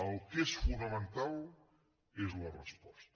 el que és fonamental és la resposta